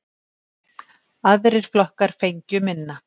Aðrir flokkar fengju minna.